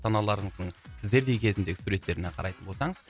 аналарымыздың сіздердей кезіндегі суреттеріне қарайтын болсаңыз